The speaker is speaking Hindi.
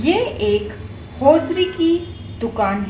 ये एक होजरी की दुकान--